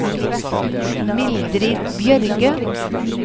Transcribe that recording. Mildrid Bjørge